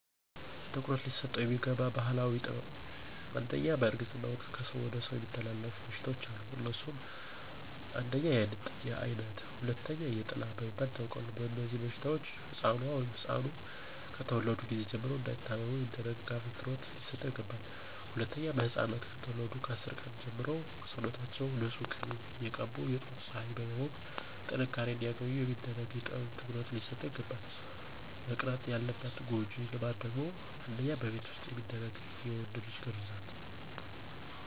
ትኩረት ሊሰጠው የሚገባ ባህላዊ ጥበብ #1, በእርግዝና ወቅት ከሰው ወደ ሰው የሚተላለፉ በሽታዎች አሉ. አነሱም: 1, የአይነት 2, የጥላ በመባል ይታወቃሉ. በእነዚህበሽታዎች ሕፃኑ(ኗ)ከተወለዱ ጊዜ ጀምሮ እንዳይታመሙ የሚደረግ እንክብካቤ ትኩረት ሊሰጠው ይገባል. #2, ሕፃናት ከተወለዱ ከ10 ቀን ጀምሮ ሰውነታችውን ንፁህ ቂቤ እየቀቡ የጧት ፀሐይ በማሞቅ ጥንካሬ አንዲያገኙ የሚደረግ ጥበብ ትኩረት ሊሰጠው ይግባላል. መቅረት ያለባት ጎጂ ልማድ ደግሞ: 1, በቤት ዉስጥ የሚደረግ የወንድ ልጅ ግርዛት